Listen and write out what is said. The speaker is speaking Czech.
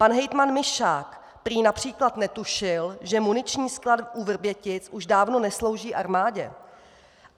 Pan hejtman Mišák prý například netušil, že muniční sklad u Vrbětic už dávno neslouží armádě!